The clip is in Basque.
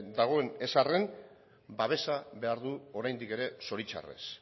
dagoen ez arren babesa behar du oraindik ere zoritxarrez